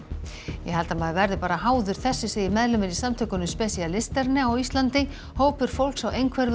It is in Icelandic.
ég held að maður verði bara háður þessu segir meðlimur í samtökunum á Íslandi hópur fólks á